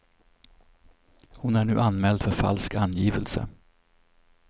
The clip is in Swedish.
Hon är nu anmäld för falsk angivelse.